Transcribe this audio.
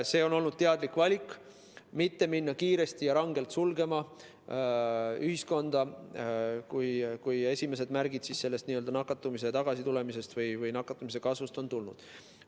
On olnud teadlik valik mitte hakata kiiresti ja rangelt ühiskonda sulgema, kui esimesed märgid nakatumise tagasitulemise või kasvu kohta on tulnud.